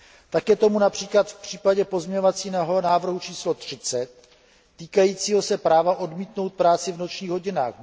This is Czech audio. Tak je tomu například v případě pozměňovacího návrhu číslo 30 týkajícího se práva odmítnout práci v nočních hodinách.